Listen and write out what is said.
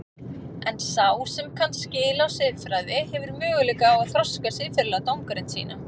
En sá sem kann skil á siðfræði hefur möguleika á að þroska siðferðilega dómgreind sína.